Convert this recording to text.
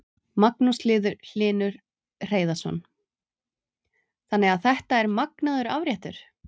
Magnús Hlynur Hreiðarsson: Þannig að þetta er magnaður afréttur?